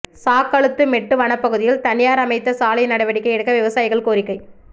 சாக்கழூத்து மெட்டு வனப்பகுதியில் தனியாா் அமைத்த சாலை நடவடிக்கை எடுக்க விவசாயிகள் கோரிக்கை